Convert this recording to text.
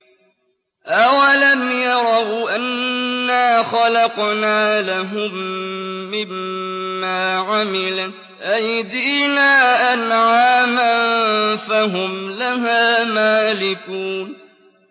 أَوَلَمْ يَرَوْا أَنَّا خَلَقْنَا لَهُم مِّمَّا عَمِلَتْ أَيْدِينَا أَنْعَامًا فَهُمْ لَهَا مَالِكُونَ